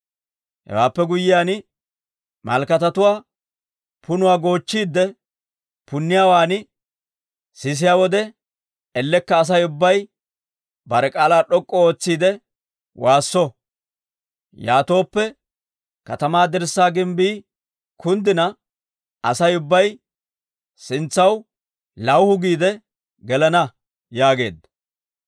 Hewaappe guyyiyaan malkkatatuwaa punuwaa goochchiide punniyaawaa sisiyaa wode, ellekka Asay ubbay bare k'aalaa d'ok'k'u ootsiide waasso. Yaatooppe katamaa dirssaa gimbbii kunddina Asay ubbay sintsaw lawuhu giide gelana» yaageedda.